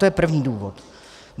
To je první důvod.